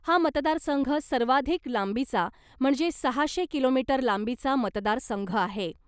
हा मतदारसंघ सर्वाधिक लांबीचा म्हणजे सहाशे किलोमीटर लांबीचा मतदारसंघ आहे .